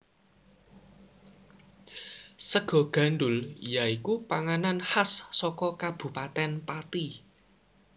Sega gandhul ya iku panganan khas saka Kabupatèn Pati